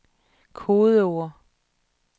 kodeord